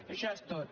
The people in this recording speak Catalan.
això és tot